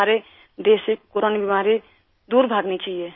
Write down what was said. हमारे देश से कोरोना बीमारी दूर भागनी चाहिए